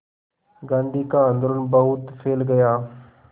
गांधी का आंदोलन बहुत फैल गया